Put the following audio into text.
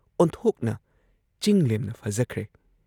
ꯑꯣꯟꯊꯣꯛꯅ ꯆꯤꯡꯂꯦꯝꯅ ꯐꯖꯈ꯭ꯔꯦ ꯫